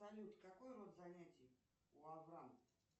салют какой род занятий у аврама